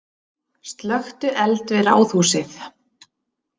Slökktu eld við Ráðhúsið